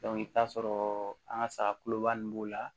i bi t'a sɔrɔ an ka saga kuloba nunnu b'o la